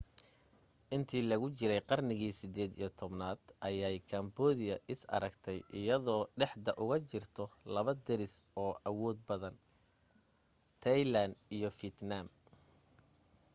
intii lagu jiray qarnigii 18aad ayay kamboodiya is aragtay iyadoo dhexda ugu jirta laba deris oo awood badan taylaan iyo fiitnaam